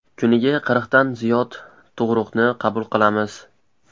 Kuniga qirqdan ziyod tug‘ruqni qabul qilamiz.